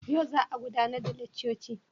Yau za a gudanar da laccoci?